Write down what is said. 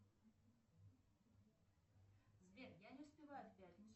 сбер я не успеваю в пятницу